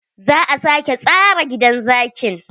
Za a sake tsara gidan zakin.